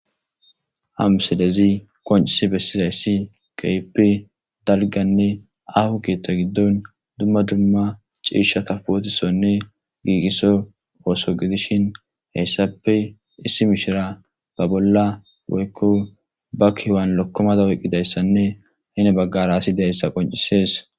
Hamselezi qoncisi bessizayssi qeepe dalganne ahu kiethta giddon dumma dumma ciishata pootisonne giiqiso ooso gidishin heyssape issi mishira ba bolla woykko ba kiwan lokkomada woyqqidayssanne hine baggara asi deyssa qoncisees